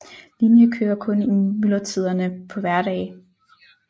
Linjen kører kun i myldretiderne på hverdage